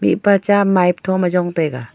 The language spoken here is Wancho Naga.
mihpa cha mipe tho ma jong taiga.